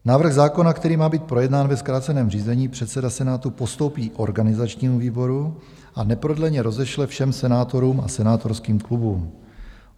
Návrh zákona, který má být projednán ve zkráceném řízení, předseda Senátu postoupí organizačnímu výboru a neprodleně rozešle všem senátorům a senátorským klubům.